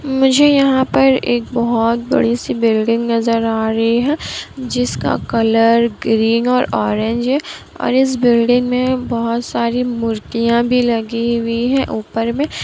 मुझे यहा पर एक बहोत बड़ी सी बिल्डिंग नज़र आ रही है जिसका कलर ग्रीन और ऑरेंज है और इस बिल्डिंग में बोहत सारी मूर्तियाँ भी लगी हुई है ऊपर में।